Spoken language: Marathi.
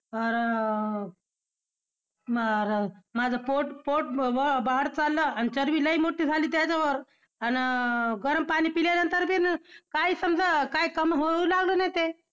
अर अर मला माझं पोट, पोट बी बाहेर चाललं आणि चरबी लय मोठी झाली त्याच्यावर. आन~ गरम पाणी पिल्यानंतर बी काही समजा, काही कमी होऊ लागलं नाही ते.